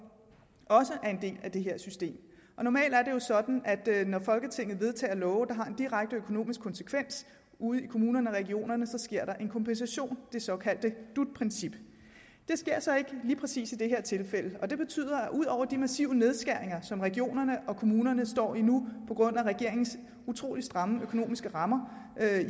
også er en del af det her system og normalt er det jo sådan at når folketinget vedtager love der har en direkte økonomisk konsekvens ude i kommunerne og regionerne sker der en kompensation det såkaldte dut princip det sker så ikke lige præcis i det her tilfælde og det betyder at ud over de massive nedskæringer som regionerne og kommunerne står i nu på grund af regeringens utrolig stramme økonomiske rammer